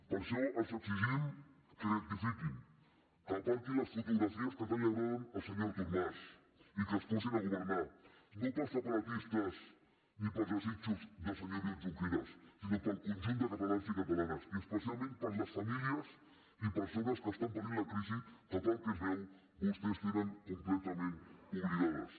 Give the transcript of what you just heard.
per això els exigim que rectifiquin que aparquin les fotografies que tant agraden al senyor artur mas i que es posin a governar no per separatistes ni per desitjos del senyor oriol junqueras sinó pel conjunt de catalans i catalanes i especialment per les famílies i persones que estan patint la crisi que pel que es veu vostès tenen completament oblidades